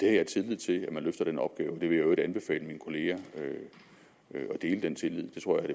har tillid til at man løfter den opgave vil i øvrigt anbefale mine kollegaer at dele den tillid det tror jeg